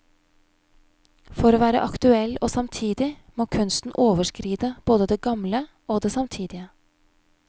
For å være aktuell og samtidig, må kunsten overskride både det gamle og det samtidige.